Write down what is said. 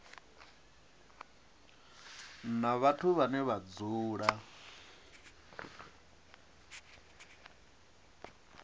na vhathu vhane vha dzula